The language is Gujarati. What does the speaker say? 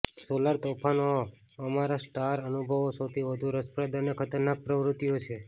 સોલર તોફાનો અમારા સ્ટાર અનુભવો સૌથી વધુ રસપ્રદ અને ખતરનાક પ્રવૃત્તિઓ છે